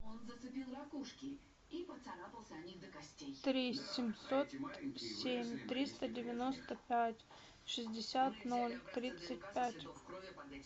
три семьсот семь триста девяносто пять шестьдесят ноль тридцать пять